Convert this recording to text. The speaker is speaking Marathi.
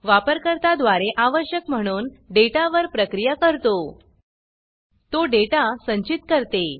वापरकर्ता द्वारे आवश्यक म्हणून डेटा वर प्रक्रिया करतो तो डेटा संचित करते